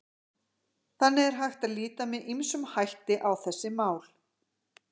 Þannig er hægt að líta með ýmsum hætti á þessi mál.